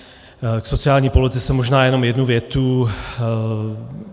K sociální politice možná jenom jednu větu.